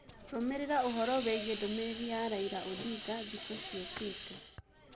rũmiriraũhoro wĩĩgĩe ndumĩriri ya raila odinga thĩkũ cĩũkate